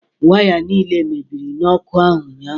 Waya niile mebiri n'ọkụ ahụ ụnyahụ